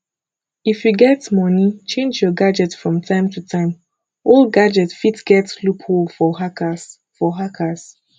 if you get money change your gadget from time to time old gadget fit get loop hole for hackers for hackers